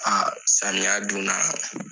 A samiya dun na